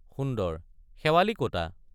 সুন্দৰ—শেৱালি কতা?